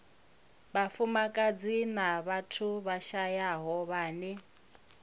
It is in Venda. vhafumakadzi na vhathu vhashayaho vhane